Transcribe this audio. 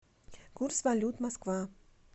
курс валют москва